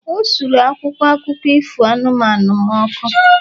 O suru akwụkwọ akụkọ ifo anụmanụ m ọkụ